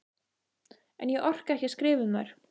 En ég orka ekki að skrifa um þær.